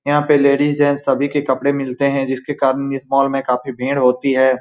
यहाँ पर ladies gents सभी के कपड़े मिलते हैं जिसके कारण इस मॉल में बहुत भीड़ होती है।